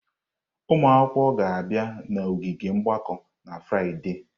Ụmụ akwụkwọ ga-abịa n'ogige mgbakọ na Fraịde.